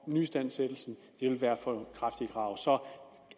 at nyistandsættelsen vil være for kraftigt et krav så